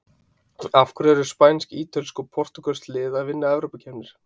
Af hverju eru spænsk, ítölsk og portúgölsk lið að vinna evrópukeppnir?